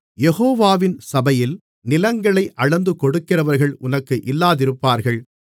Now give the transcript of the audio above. யெகோவாவின் சபையில் நிலங்களை அளந்துகொடுக்கிறவர்கள் உனக்கு இல்லாதிருப்பார்கள்